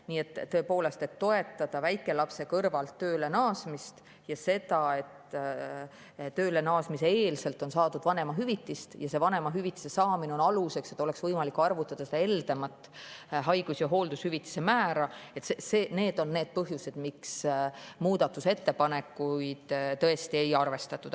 Nii et tõepoolest, toetada väikelapse kõrvalt tööle naasmist, kui enne tööle naasmist on saadud vanemahüvitist, ja vanemahüvitise saamine on aluseks, et oleks võimalik arvutada heldemat haigus‑ ja hooldushüvitise määra – need on põhjused, miks teie muudatusettepanekuid tõesti ei arvestatud.